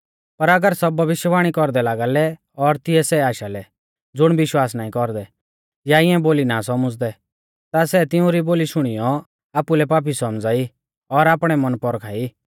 पर अगर सब भविष्यवाणी कौरदै लागा लै और तिऐ सै आशालै ज़ुण विश्वास नाईं कौरदै या इऐं बोली ना सौमझ़दै ता सै तिउंरी बोली शुणीयौ आपुलै पापी सौमझ़ाई और आपणै मन पौरखा ई